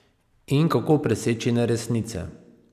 In kako preseči neresnice?